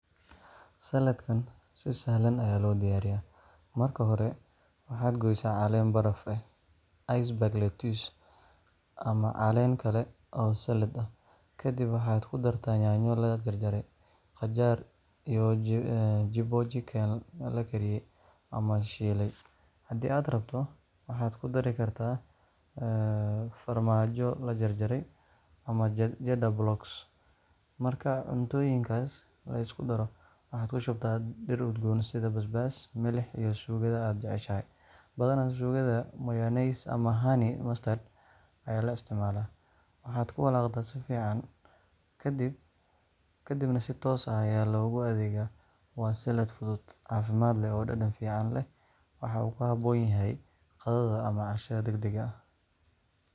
Saladkan si sahlan ayaa loo diyaariyaa. Marka hore, waxaad goysaa caleen baraf ah (iceberg lettuce) ama caleen kale oo salad ah. Kadibna waxaad ku dartaa yaanyo la jarjaray, qajaar, iyo jibbo chicken la kariyey ama la shiilay. Haddii aad rabto, waxaad ku dari kartaa farmaajo la jarjaray ama cheddar blocks Marka cuntooyinkaas la isku daro, waxaad ku shubtaa dhir udgoon sida basbaas, milix iyo suugada aad jeceshahay ,badanaa suugada mayonnaise ama honey mustard ayaa la isticmaalaa. Waxaad ku walaaqdaa si fiican, kadibna si toos ah ayaa loogu adeegaa. Waa salad fudud, caafimaad leh, oo dhadhan fiican leh. Waxa uu ku habboon yahay qadada ama cashada degdega ah.